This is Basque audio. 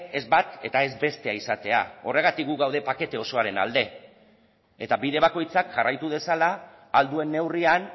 ez bat eta ez bestea izatea horregatik gu gaude pakete osoaren alde eta bide bakoitzak jarraitu dezala ahal duen neurrian